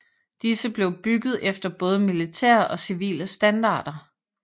Disse blev bygget efter både militære og civile standarder